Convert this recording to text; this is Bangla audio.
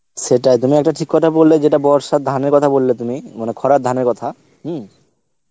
সেটাই তুমি একটা ঠিক কথা বললে যেটা বর্ষার ধানের কথা বললে তুমি মানে খরার ধানের কথা হম